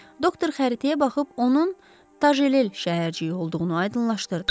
Doktor xəritəyə baxıb onun Tacel şəhərciyi olduğunu aydınlaşdırdı.